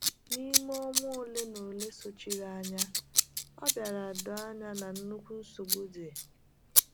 N’ime ọnwa ole na ole sochiri anya, ọ bịara doo anya na nnukwu nsogbu dị.